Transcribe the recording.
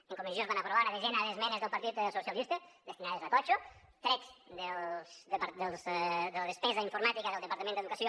en comissió es van aprovar una desena d’esmenes del partit socialistes destinades a totxo trets de la despesa informàtica del departament d’educació